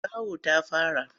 Zawo ta fara.